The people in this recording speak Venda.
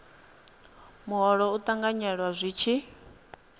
muholo u ṱanganyelwa zwi tshi